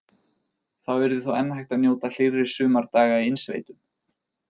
Þá yrði þó enn hægt að njóta hlýrra sumardaga í innsveitum.